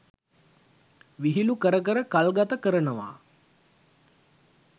විහිළු කර කර කල්ගත කරනවා.